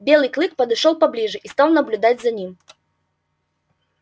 белый клык подошёл поближе и стал наблюдать за ним